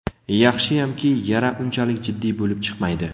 Yaxshiyamki, yara unchalik jiddiy bo‘lib chiqmaydi.